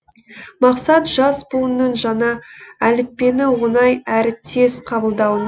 мақсат жас буынның жаңа әліппені оңай әрі тез қабылдауы